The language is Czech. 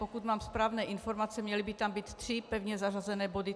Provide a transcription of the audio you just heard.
Pokud mám správné informace, měly by tam být tři pevně zařazené body.